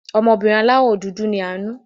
Ọmọbìnrin aláwò dúdú ni Àánú.